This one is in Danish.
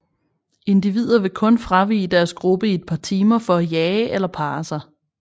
Individer vil kun fravige deres gruppe i et par timer for at jage eller parre sig